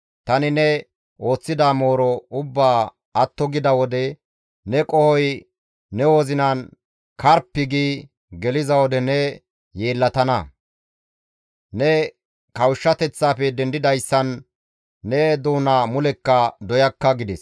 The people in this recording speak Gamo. Tani ne ooththida mooro ubbaa atto gida wode ne qohoy ne wozinan karppi gi geliza wode ne yeellatana; ne kawushshateththafe dendidayssan ne doona mulekka doyakka» gides.